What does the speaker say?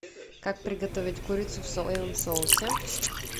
как приготовить курицу в соевом соусе